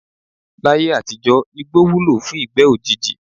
Láyé àtijó̩ igbó wúlò fún ìgbé̩ òjijì.